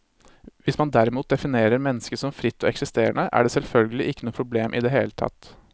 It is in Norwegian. Hvis man derimot definerer mennesket som fritt og eksisterende, er det selvfølgelig ikke noe problem i det hele tatt.